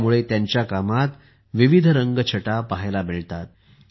त्यामुळे त्याच्या कामात विविध रंग छटा पाहायला मिळतात